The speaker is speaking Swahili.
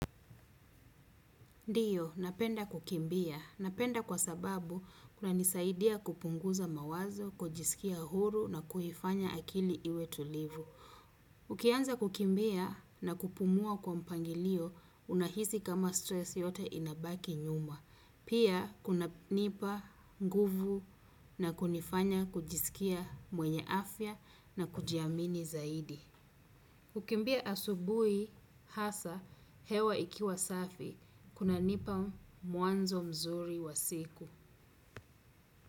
Ndiyo, napenda kukimbia. Napenda kwa sababu kunanisaidia kupunguza mawazo, kujisikia huru na kuifanya akili iwe tulivu. Ukianza kukimbia na kupumua kwa mpangilio unahisi kama stresi yote inabaki nyuma. Pia, kunanipa, nguvu na kunifanya kujisikia mwenye afya na kujiamini zaidi. Kukimbia asubuhi hasa hewa ikiwa safi kuna nipa mwanzo mzuri wa siku.